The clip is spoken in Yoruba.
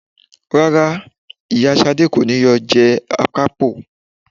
Rárá, ìyá Ṣadé kọ́ ni yóò jẹ Akápò